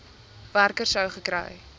werker sou gekry